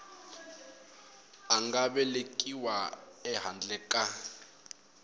a nga velekiwa ehandle ka